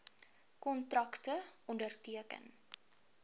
kontrakte onderteken